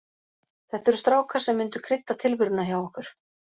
Þetta eru strákar sem myndu krydda tilveruna hjá okkur.